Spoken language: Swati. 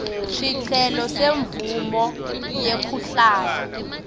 sicelo semvumo yekuhlala